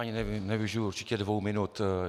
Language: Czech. Ani nevyužiji určitě dvou minut.